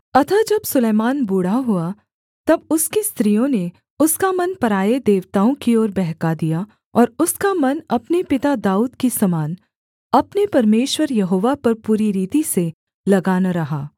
अतः जब सुलैमान बूढ़ा हुआ तब उसकी स्त्रियों ने उसका मन पराए देवताओं की ओर बहका दिया और उसका मन अपने पिता दाऊद की समान अपने परमेश्वर यहोवा पर पूरी रीति से लगा न रहा